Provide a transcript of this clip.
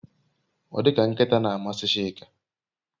Odika nkita na amasi Chika